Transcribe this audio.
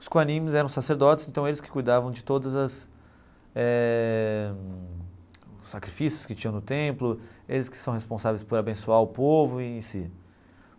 Os Quarim eram sacerdotes, então eles que cuidavam de todos as eh os sacrifícios que tinham no templo, eles que são responsáveis por abençoar o povo em si.